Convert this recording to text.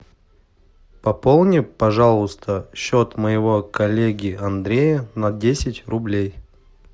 пополни пожалуйста счет моего коллеги андрея на десять рублей